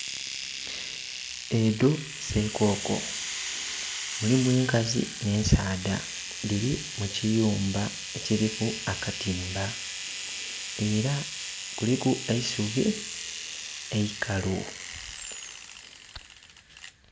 Edho sekoko mulimu enkazi nhe ensaadha dhili mu kiyumba ekiliku akatimba era kuliku eisubi eikalu.